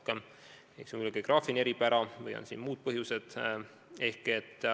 Võib-olla on see geograafiline eripära, võib-olla on siin muud põhjused.